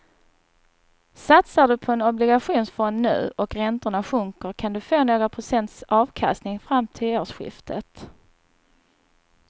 Satsar du på en obligationsfond nu och räntorna sjunker kan du få några procents avkastning fram till årsskiftet.